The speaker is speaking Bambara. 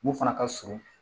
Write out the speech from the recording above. Mun fana ka surun